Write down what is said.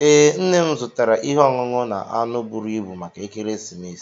Ee, nne m zụtara ihe ọṅụṅụ na anụ buru ibu maka ekeresimesi